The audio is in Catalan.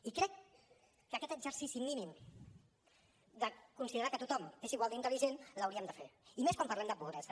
i crec que aquest exercici mínim de considerar que tothom és igual d’intel·ligent l’hauríem de fer i més quan parlem de pobresa